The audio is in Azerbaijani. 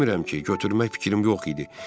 Demirəm ki, götürmək fikrim yox idi.